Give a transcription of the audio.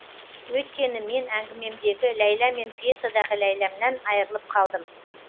өйткені мен әңгімемдегі ләйлә мен пьесадағы ләйләмнан айырылып қалдым